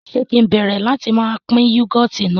Ṣe kì ń bẹ̀rẹ̀ láti má pín "Yúgọ́ọ́tì" náà